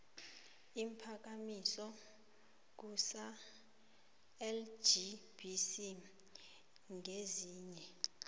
iimphakamiso kusalgbc ngezinye